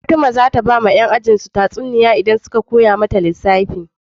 Fatima zata bawa yan ajin su tatsuniya idan suka koya mata lissafi